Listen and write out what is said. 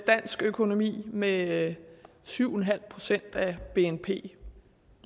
dansk økonomi med syv en halv procent af bnp